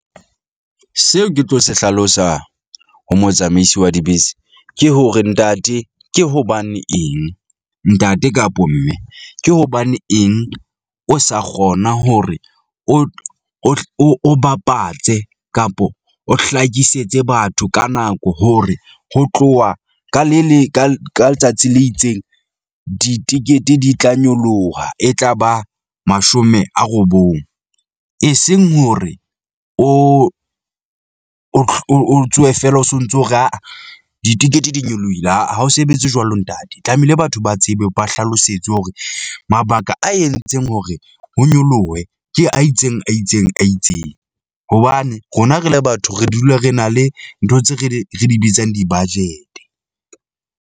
Seo ke tlo se hlalosa ho motsamaisi wa dibese ke hore ntate ke hobane eng ntate kapo mme, ke hobane eng o sa kgona hore o o o bapatse kapo o hlakisetse batho ka nako hore ho tloha ka le le ka letsatsi le itseng, ditekete di tla nyoloha e tla ba mashome a robong eseng hore o o o o tsohe feela o sontso o re aa ditekete di nyolohile a a ha o sebetse jwalo ntate. Tlamehile batho ba tsebe, ba hlalosetswe hore mabaka a entseng hore ho nyolohe ke a itseng, a itseng, a itseng. Hobane rona re le batho, re dula re na le ntho tse re di re di bitsang di-budget-e.